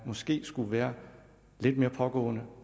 måske skulle være lidt mere pågående